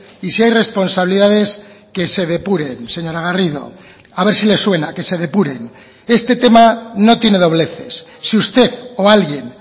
y si hay responsabilidades que se depuren señora garrido a ver si le suena que se depuren este tema no tiene dobleces si usted o alguien